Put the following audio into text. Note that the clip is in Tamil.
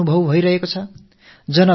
ஒரு புதிய உணர்வை உணரமுடிகிறது